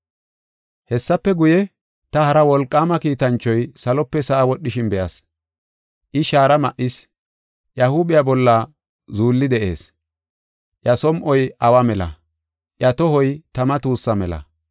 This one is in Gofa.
Hessafe guye, ta hara wolqaama kiitanchoy salope sa7a wodhishin be7as. I shaara ma7is; iya huuphiya bolla zuulli de7ees. Iya som7oy awa mela; iya tohoy tama tuussa mela.